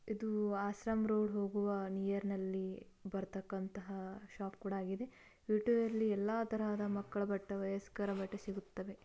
ಇದು ಆಶ್ರಮ್ ರೋಡ್ ಹೋಗುವ ನಿಯರ್ ನಲ್ಲಿ ಬರ್ತಕ್ಕಂತಹ ಶಾಪ್ ಕೂಡ ಆಗಿದೆ. ವಿ_ಟೂ ಯಲ್ಲಿ ಎಲ್ಲಾ ತರಹದ ಮಕ್ಕಳ ಬಟ್ಟೆ. ವಯಸ್ಕರ ಬಟ್ಟೆ ಸಿಗುತ್ತದೆ.